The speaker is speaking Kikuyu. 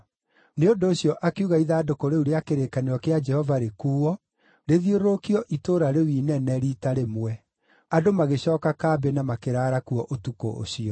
Nĩ ũndũ ũcio akiuga ithandũkũ rĩu rĩa kĩrĩkanĩro kĩa Jehova rĩkuuo, rĩthiũrũrũkio itũũra-inĩ rĩu inene, riita rĩmwe. Andũ magĩcooka kambĩ na makĩraara kuo ũtukũ ũcio.